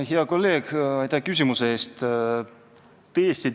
Hea kolleeg, aitäh küsimuse eest!